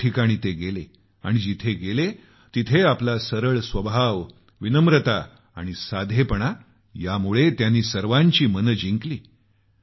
अनेक ठिकाणी गेले आणि जिथं गेले तिथं आपला सरळ स्वभाव विनम्रता साधेपणा यामुळे त्यांनी सर्वांची मनं जिंकली